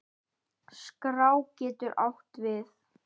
Skrá getur átt við